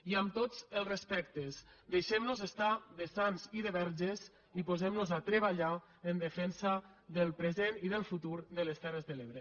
i amb tots els respectes deixem nos estar de sants i de verges i posem nos a treballar en defensa del present i del futur de les terres de l’ebre